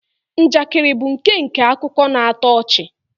Njakịrị bụ nkenke akụkọ na-atọ ọchị